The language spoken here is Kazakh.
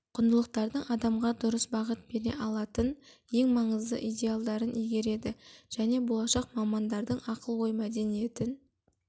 құндылықтардың адамға дұрыс бағыт бере алатын ең маңызды идеалдарын игереді және болашақ мамандардың ақыл-ой мәдениетін